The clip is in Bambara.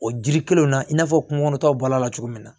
O jiri kelen na i n'a fɔ kungo kɔnɔtaw bɔl'a la cogo min na